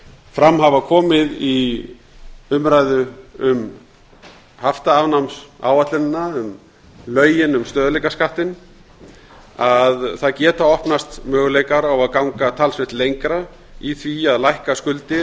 fram hafa komið í umræðu um haftaafnámsáætlunina um lögin um stöðugleikaskattinn að það geta opnast möguleikar á að ganga talsvert lengra í því að lækka skuldir